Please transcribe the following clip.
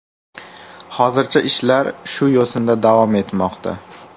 Hozircha ishlar shu yo‘sinda davom etmoqda”.